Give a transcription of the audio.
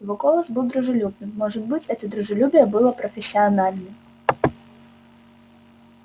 его голос был дружелюбным может быть это дружелюбие было профессиональным